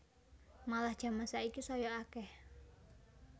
Malah jaman saiki saya akeh